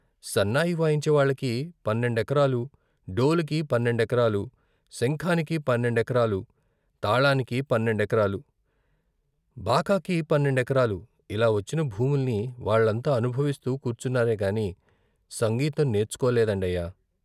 సన్నాయి వాయించే వాళ్ళకి పన్నెండెకరాలు, డోలుకి పన్నెండెకరాలు, శంఖానికి పన్నెండెకరాలు, తాళానికి పన్నెండెకరాలు, బాకాకి పన్నెండెకరాలు ఇలా వచ్చిన భూముల్ని వాళ్ళంతా అనుభవిస్తూ కూర్చున్నారేగాని సంగీతం నేర్చుకో లేదండయ్యా